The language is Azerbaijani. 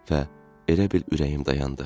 Və elə bil ürəyim dayandı.